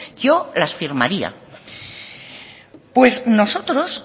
yo las firmaría pues nosotros